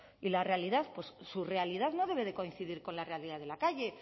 y la realidad pues su realidad no debe de coincidir con la realidad de la calle